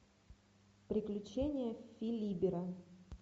приключения филибера